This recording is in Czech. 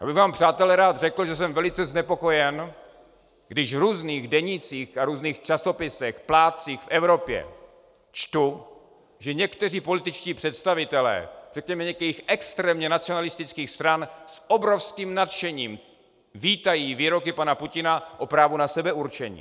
Já bych vám, přátelé, rád řekl, že jsem velice znepokojen, když v různých denících a různých časopisech, plátcích v Evropě čtu, že někteří političtí představitelé řekněme některých extrémně nacionalistických stran s obrovským nadšením vítají výroky pana Putina o právu na sebeurčení.